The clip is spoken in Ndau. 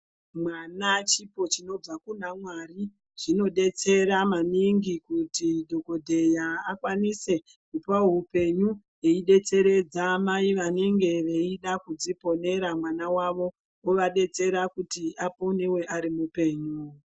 Mwana chipo chinobva kuna Mwari zvinodetsera maningi kuti dhokodheya akwanise kupawo upenyu eidetseredza mai vanenge veida kudziponera mwana wavo ovadetsera kuti aponewe arimupenyu.